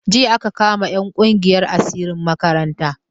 Jiya aka kama 'yan kungiyan asirin makaranta.